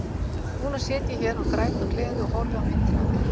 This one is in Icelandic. Núna sit ég hér og græt af gleði og horfi á myndina af þér.